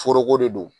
Foroko de don